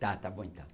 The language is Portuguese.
Tá, tá bom então.